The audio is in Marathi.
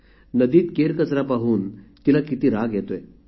नदीत केरकचरा पाहून तिला किती राग येतो आहे